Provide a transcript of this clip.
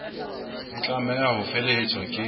e tlameha ho felehetswa ke